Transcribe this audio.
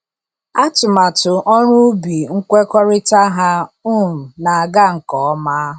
Atụmatụ ọrụ ubi nkwekọrịta ha um na-aga nke ọma.